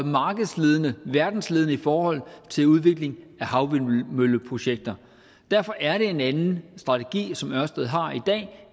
verdensledende i forhold til udvikling af havvindmølleprojekter derfor er det en anden strategi som ørsted har i dag